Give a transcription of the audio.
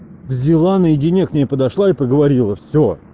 взяла наедине к ней подошла и поговорила все